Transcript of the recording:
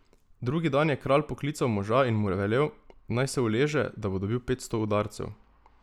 Drugi dan je kralj poklical moža in mu velel, naj se uleže, da bo dobil petsto udarcev.